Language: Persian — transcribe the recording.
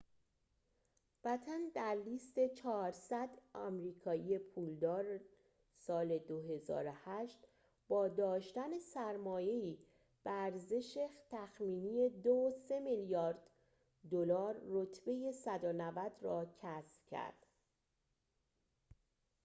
بَتن در لیست ۴۰۰ آمریکایی پولدار سال ۲۰۰۸ با داشتن سرمایه‌ای به ارزش تخمینی ۲.۳ میلیارد دلار رتبه ۱۹۰ را کسب کرد